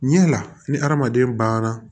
Ɲɛ la ni hadamaden banna